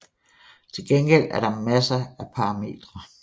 Til gengæld er der masser af parametre